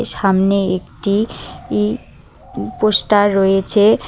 এ সামনে একটি ই উ পোস্টার রয়েছে।